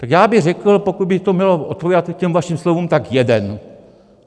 Tak já bych řekl, pokud by to mělo odpovídat těm vašim slovům, tak jeden.